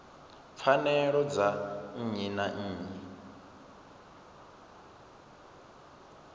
pfanelo dza nnyi na nnyi